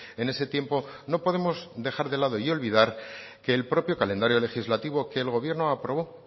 en ese tiempo no podemos dejar de lado y olvidar que el propio calendario legislativo que el gobierno aprobó